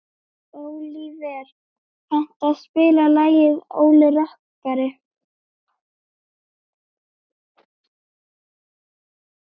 Ólíver, kanntu að spila lagið „Óli rokkari“?